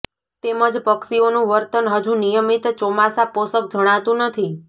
તેમજ પક્ષીઓનું વર્તન હજુ નિયમિત ચોમાસા પોષક જણાતું નથી